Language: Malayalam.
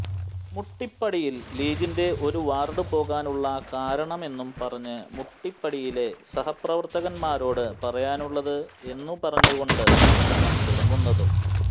മുട്ടിപ്പടിയിൽ ലീഗിന്റെ ഒരു വാർഡ് പോകാനുള്ള കാരണമെന്നും പറഞ്ഞ് മുട്ടിപ്പടിയിലെ സഹപ്രവർത്തകന്മാരോട് പറയാനുള്ളത് എന്നു പറഞ്ഞുകൊണ്ടാണ്ട് പ്രസംഗം തുടങ്ങുന്നത്